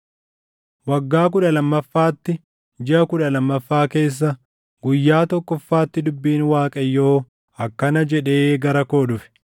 Waggaa kudha lammaffaatti, jiʼa kudha lammaffaa keessa, guyyaa tokkoffaatti dubbiin Waaqayyoo akkana jedhee gara koo dhufe: